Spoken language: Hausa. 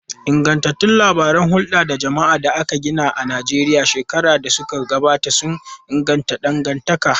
Ingantattun labaran hulda da jama'a da aka gina a Najeriya shekaru da suka gabata sun inganta dangantaka.